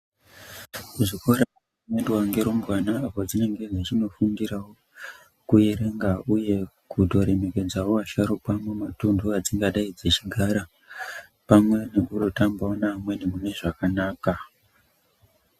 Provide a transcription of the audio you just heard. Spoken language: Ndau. Zvikora zvinoendwa ngerumbwana padzinenge dzechindofundirawo kuerenga uye kutoremekedzawo asharukwa mumatuntu adzingadai dzechigara pamwe nekundotambawo neamweni munezvakanaka.